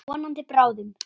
Vonandi bráðum.